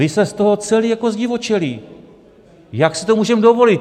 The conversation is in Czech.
Vy jste z toho celí jako zdivočelí, jak si to můžeme dovolit?